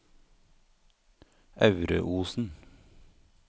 Aureosen